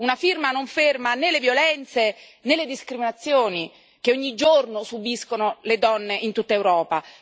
Una firma non ferma né le violenze né le discriminazioni che ogni giorno subiscono le donne in tutta Europa.